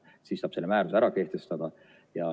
Siis saab selle määruse kehtestada.